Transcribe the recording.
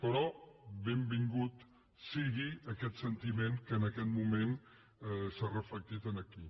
però benvingut sigui aquest sentiment que en aquest moment s’ha reflectit aquí